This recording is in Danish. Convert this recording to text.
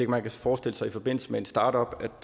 man kan forestille sig i forbindelse med en startup